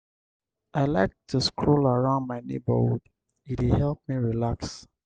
i like to stroll around my neighborhood; e dey help me relax.